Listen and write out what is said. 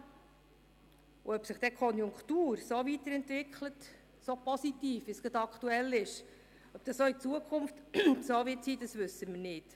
Und ob sich die Konjunktur so positiv weiterentwickelt, wie es gerade aktuell der Fall ist, ob das auch in Zukunft so sein wird, das wissen wir nicht.